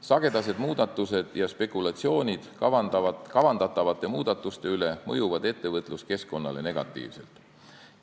Sagedased muudatused ja spekulatsioonid kavandatavate muudatuste üle mõjuvad ettevõtluskeskkonnale negatiivselt.